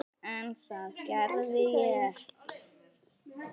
En það gerði ég ekki.